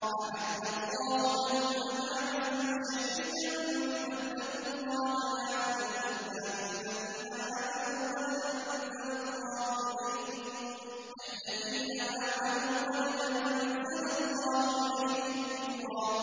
أَعَدَّ اللَّهُ لَهُمْ عَذَابًا شَدِيدًا ۖ فَاتَّقُوا اللَّهَ يَا أُولِي الْأَلْبَابِ الَّذِينَ آمَنُوا ۚ قَدْ أَنزَلَ اللَّهُ إِلَيْكُمْ ذِكْرًا